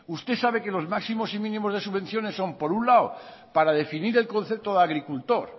usted sabe que los máximos y mínimos de subvenciones son por un lado para definir el concepto de agricultor